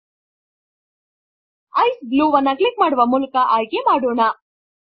ICE blue ವನ್ನು click ಮಾಡುವ ಮೂಲಕ ಆಯ್ಕೆ ಮಾಡೋಣ